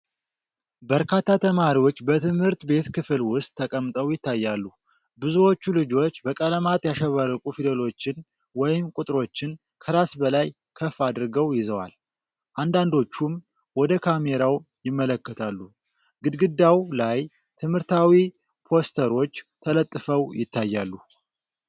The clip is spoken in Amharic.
በርካታ ተማሪዎች በትምህርት ቤት ክፍል ውስጥ ተቀምጠው ይታያሉ። ብዙዎቹ ልጆች በቀለማት ያሸበረቁ ፊደሎችን ወይም ቁጥሮችን ከራስ በላይ ከፍ አድርገው ይዘዋል፤ አንዳንዶቹም ወደ ካሜራው ይመለከታሉ። ግድግዳው ላይ ትምህርታዊ ፖስተሮች ተለጥፈው ይታያሉ።